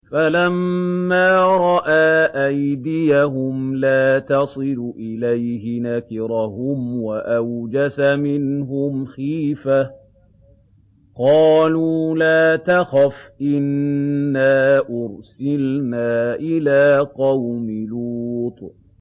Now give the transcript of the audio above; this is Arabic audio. فَلَمَّا رَأَىٰ أَيْدِيَهُمْ لَا تَصِلُ إِلَيْهِ نَكِرَهُمْ وَأَوْجَسَ مِنْهُمْ خِيفَةً ۚ قَالُوا لَا تَخَفْ إِنَّا أُرْسِلْنَا إِلَىٰ قَوْمِ لُوطٍ